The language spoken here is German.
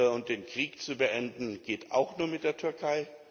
Und den Krieg zu beenden, geht auch nur mit der